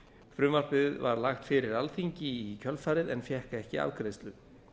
frumvarpið var lagt fyrir alþingi í kjölfarið en fékk ekki afgreiðslu